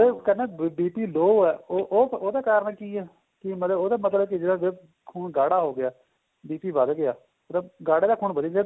ਕਹਿੰਦਾ BP low ਏ ਉਹਦਾ ਕਾਰਨ ਕੀ ਏ ਕਿ ਮਤਲਬ ਉਹਦਾ ਮਤਲਬ ਜਿਹੜਾ ਖੂਨ ਗਾੜਾ ਹੋ ਗਿਆ BP ਵੱਧ ਗਿਆ ਗਾੜੇ ਦਾ ਖੂਨ ਵਧੀ ਗਿਆ